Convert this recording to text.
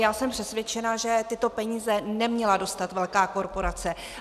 Já jsem přesvědčena, že tyto peníze neměla dostat velká korporace.